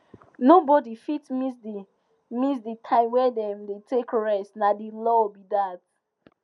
nobody fit miss the miss the time wey dem dey take rest na the law be that